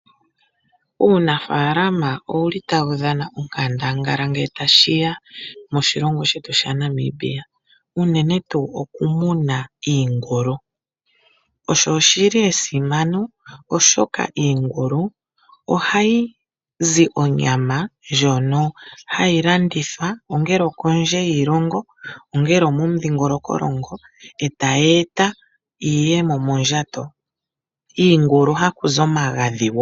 Uunafaalama owuli tawu dhana onkandangala ngele tashi ya moshilongo shetu shaNamibia, unene tuu oku muna iingulu. Osho oshili esimano oshoka iingulu ohayi zi onyama ndjono hayi landithwa ongele okondje yiilongo, ongele omo mu dhingolokolongo e tayeeta iiyemo mondjato. Iingulu haku zo omagadhi woo.